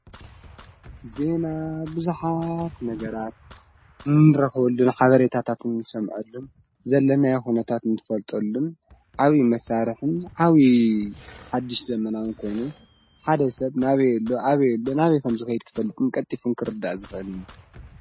ዜና ብዙኃት ነገራት እንረኽበሉን ሓበሬታታትን እንሰምዐሉን ዘለናዮ ኹነታት እንፈልጠሉን ዓብዪ መሣርሕን ዓብዪ ሓድሽ ዘመናዊን ኮይኑ ሓደ ሰብ ናበየሎ ኣበየሎ ናበይ ከም ዝኸይት ክፈልጥን ቀጢፉን ክርዳእ ዝክእል እዩ።